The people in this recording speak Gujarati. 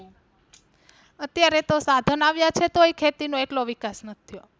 અત્યારે તો સાધન આવ્યા છે તોય ખેતી નો એટલો વિકાસ નથી થયો